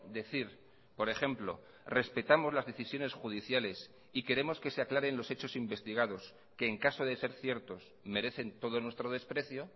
decir por ejemplo respetamos las decisiones judiciales y queremos que se aclaren los hechos investigados que en caso de ser ciertos merecen todo nuestro desprecio